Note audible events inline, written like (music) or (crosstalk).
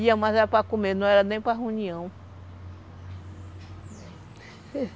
Ia, mas era para comer, não era nem para reunião (laughs)